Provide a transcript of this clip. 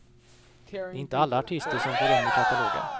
Det är inte alla artister som får rum i katalogen.